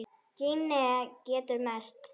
Gínea getur merkt